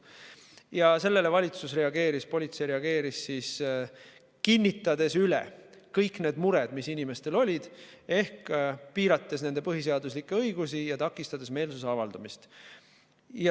Ja sellele politsei reageeris, kinnitades kõiki neid muresid, mis inimestel olid, ehk piirates nende põhiseaduslikke õigusi ja takistades meelsuse avaldamist.